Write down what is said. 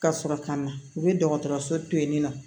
Ka sɔrɔ ka na u bɛ dɔgɔtɔrɔso to yen nɔ